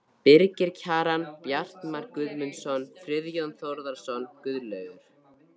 Birgir Kjaran, Bjartmar Guðmundsson, Friðjón Þórðarson, Guðlaugur